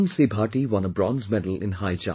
Bhati won a bronze medal in High Jump